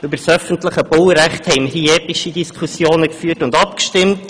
Über das öffentliche Baurecht haben wir hier dagegen epische Diskussionen geführt und abgestimmt.